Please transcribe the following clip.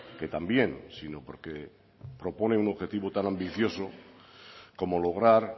que también sino porque propone un objetivo tan ambicioso como lograr